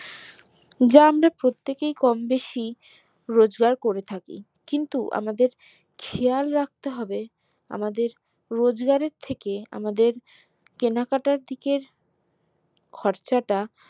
যা আমরা প্রত্যেক কেই কম বেশি রোজগার করে থাকি কিন্তু আমাদের খেয়াল রাখতে হবে আমাদের রোজগারের থেকে আমাদের কেনাকাটার দিকের খরচটা